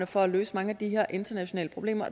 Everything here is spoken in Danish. for at løse mange af de her internationale problemer